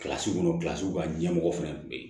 kɔnɔ ka ɲɛmɔgɔ fɛnɛ kun be yen